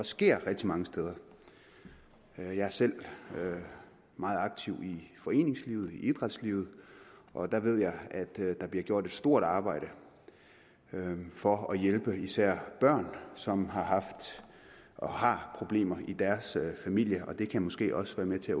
sker rigtig mange steder jeg jeg er selv meget aktiv i foreningslivet idrætslivet og der ved jeg der bliver gjort et stort arbejde for at hjælpe især børn som har haft og har problemer i deres familier og det kan måske også være med til